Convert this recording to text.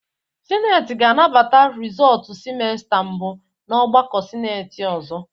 Sineti ga-anabata rizọọtu simesta mbụ n'ọgbakọ sineti ọzọ.